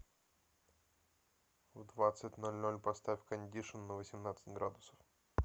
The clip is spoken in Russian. в двадцать ноль ноль поставь кондишн на восемнадцать градусов